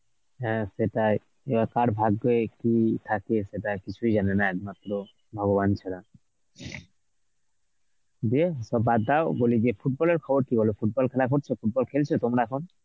হ্যাঁ সেটাই যে কার ভাগ্যে কি থাকে সেটা কিছুই জানে না একমাত্র ভগবান ছাড়া. দিয়ে সব বাদ দাও বলি যে football এর খবর কি বলো, football খেলা হচ্ছে? football খেলছো তোমরা এখন?